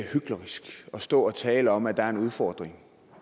stå og tale om at der er en udfordring